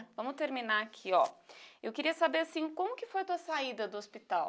Vamos terminar aqui, ó. Eu queria saber, assim, como que foi a tua saída do hospital?